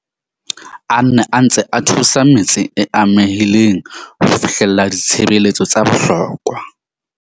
A ne a ntse a thusa metse e amehileng ho fihlella ditshebeletso tsa bohlokwa.